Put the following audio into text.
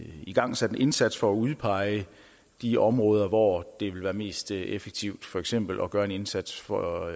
igangsat en indsats for at udpege de områder hvor det vil være mest effektivt for eksempel at gøre en indsats for